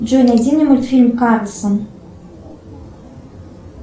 джой найди мне мультфильм карлсон